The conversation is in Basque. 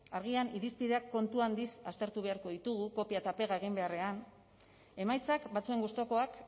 agian irizpideak kontu handiz aztertu beharko ditugu kopia eta pega egin beharrean emaitzak batzuen gustukoak